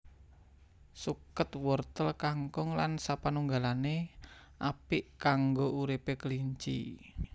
Suket wortel kangkung lan sapanunggalané apik kanggo uripé kelinci